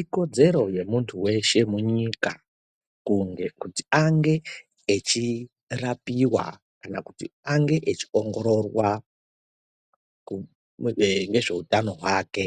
Ikodzero yemuntu weshe munyika kunge kuti ange echirapiwa kana kuti ange echiongororwa nezveutano hwake,